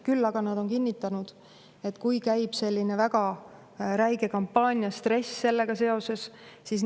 Küll aga on nad kinnitanud, et kui käib selline väga räige kampaania, siis sellega kaasneb stress.